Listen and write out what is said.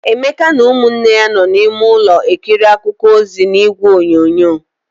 Emeka na ụmụnne ya nọ n'ime ọnụ ulọ ekiri akụkọ ozi n'igwe onyonyo.